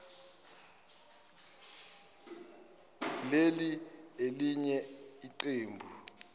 leli elinye iqembu